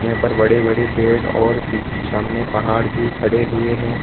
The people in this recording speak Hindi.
यहाँ पर बड़े-बड़े पेड़ और पिछ सामने पहाड़ भी खड़े हुए है।